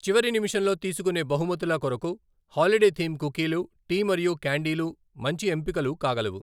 చివరి నిమిషంలో తీసుకునే బహుమతుల కొరకు హాలిడే థీమ్ కుకీలు, టీ మరియు క్యాండీలు మంచి ఎంపికలు కాగలవు.